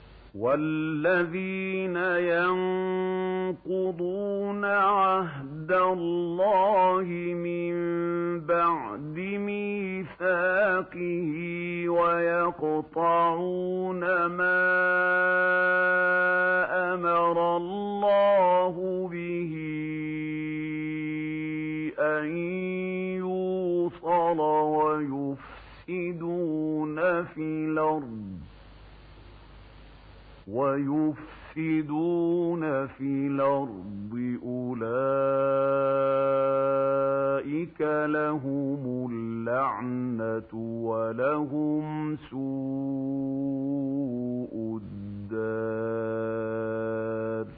وَالَّذِينَ يَنقُضُونَ عَهْدَ اللَّهِ مِن بَعْدِ مِيثَاقِهِ وَيَقْطَعُونَ مَا أَمَرَ اللَّهُ بِهِ أَن يُوصَلَ وَيُفْسِدُونَ فِي الْأَرْضِ ۙ أُولَٰئِكَ لَهُمُ اللَّعْنَةُ وَلَهُمْ سُوءُ الدَّارِ